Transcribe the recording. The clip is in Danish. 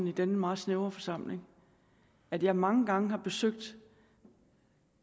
i denne meget snævre forsamling at jeg mange gange har besøgt